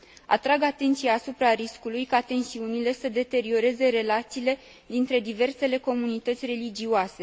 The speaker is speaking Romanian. Atrag atenția asupra riscului ca tensiunile să deterioreze relațiile dintre diversele comunități religioase.